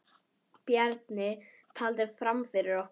Bjarni taldi fram fyrir okkur.